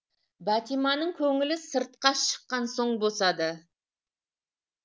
бәтиманың көңілі сыртқа шыққан соң босады